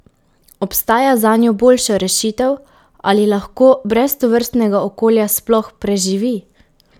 Obstaja zanjo boljša rešitev, ali lahko brez tovrstnega okolja sploh preživi?